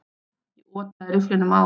Ég otaði rifflinum að honum.